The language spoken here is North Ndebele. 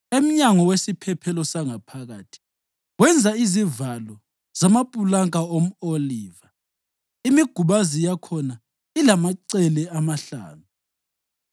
Emnyango wesiphephelo sangaphakathi wenza izivalo zamapulanka omʼoliva, imigubazi yakhona ilamacele amahlanu.